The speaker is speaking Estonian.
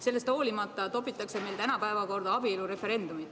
Sellest hoolimata topitakse meile täna päevakorda abielureferendumit.